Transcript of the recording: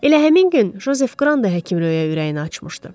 Elə həmin gün Jozef Qran da həkim Röyə ürəyini açmışdı.